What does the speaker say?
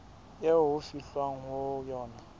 eo ho fihlwang ho yona